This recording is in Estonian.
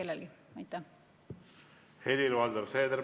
Helir-Valdor Seeder, palun!